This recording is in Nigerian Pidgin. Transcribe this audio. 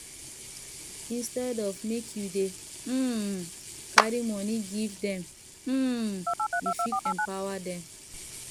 instead of make you dey um carry money give dem um you fit empower dem